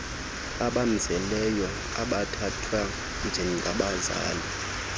abamzeleyo abathathwa njengabazali